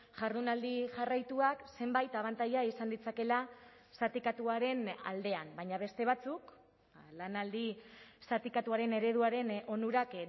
jardunaldi jarraituak zenbait abantaila izan ditzakeela zatikatuaren aldean baina beste batzuk lanaldi zatikatuaren ereduaren onurak